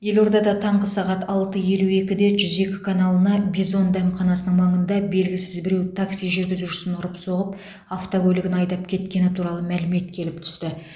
елордада таңғы сағат алты елу екіде жүз екі каналына бизон дәмханасының маңында белгісіз біреу такси жүргізушісін ұрып соғып автокөлігін айдап кеткені туралы мәлімет келіп түсті